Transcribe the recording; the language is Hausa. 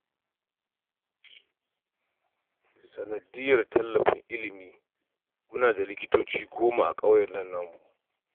Sanadiyyar tallafin ilimi muna da likitoci goma a ƙauyen nan namu